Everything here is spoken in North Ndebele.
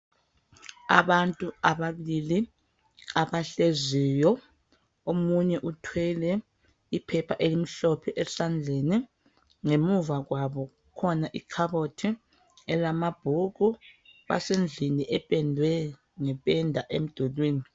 Abantu ababili abahleziyo. Omunye uthwele iphepha elimhlophe esandleni Ngemuva kwabo kulekhabothi elamabhuku. Basendlini ephendwe ngephenda emdulwini.